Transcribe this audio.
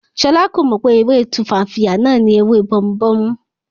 Ṣọlá kò mọ̀ pé ewé Tumfafiya náà ni ewé bomubómú